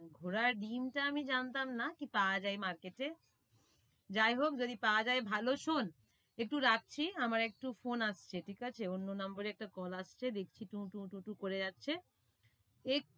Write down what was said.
ঘোড়ার ডিমটা আমি জানতাম না কি পাওয়া যায় market এ যাই হোক যদি পাওয়া যায় ভালো, শোন একটু রাখছি আমার একটু phone আসছে ঠিক আছে, অন্য number এ একটা call আসছে দেখছি করে যাচ্ছে।